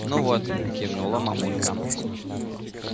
ну вот кивнула мамулька